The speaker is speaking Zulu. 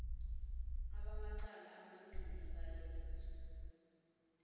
bamacala omabili bayabizwa